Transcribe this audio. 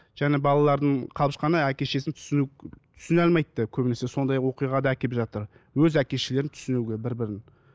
жаңа балаларының қалып жатқаны әке шешесін түсіну түсіне алмайды да көбінесе сондай оқиға да әкеліп жатыр өз әке шешелерін түсінуге бір бірін